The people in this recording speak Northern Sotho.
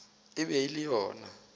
e be e le yona